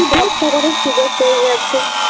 সুযোগ পেয়ে গেছে